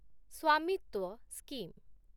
Svamitva scheme